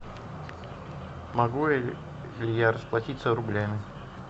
могу ли я расплатиться рублями